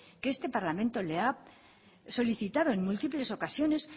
que este parlamento le ha solicitado en múltiples ocasiones